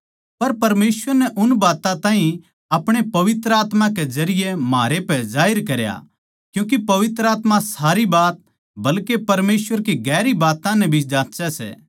पर परमेसवर नै उन बात्तां ताहीं अपणे पवित्र आत्मा के जरिये म्हारै पै जाहिर करया क्यूँके पवित्र आत्मा सारी बात बल्के परमेसवर की गहरी बात्तां नै भी जाँच्चै सै